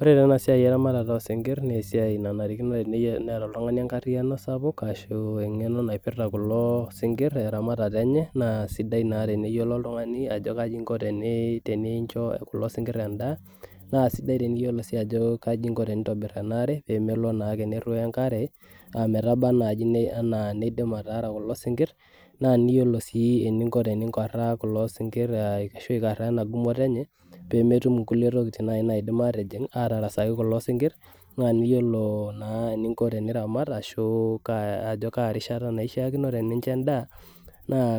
ore ena siai oosingir naa esiai nanarikino neeta oltung'ani enkariyiano, ashu egeno naipita kulo singir teramatata enye, naa sida naa teneyiolou oltungani aishoo kulo singir edaa naa sida sii teyiolo atobira enaare naa niyiolo sii eningo teni nkaraa kulo singir, pee metum inkulie tokitin atasaki kulo sinkir , niyiolo naa eningo teniramat niyiolo ajo